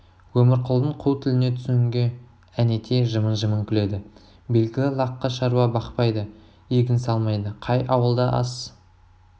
өмірқұлдың қу тіліне түсінге әнетей жымың-жымың күледі белгілі лаққы шаруа бақпайды егін салмайды қай ауылда ас